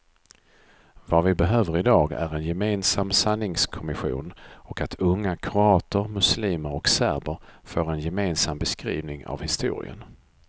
Vad vi behöver i dag är en gemensam sanningskommission och att unga kroater, muslimer och serber får en gemensam beskrivning av historien.